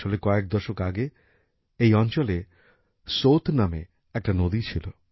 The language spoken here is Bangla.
আসলে কয়েক দশক আগে এই অঞ্চলে সোত নামে একটা নদী ছিল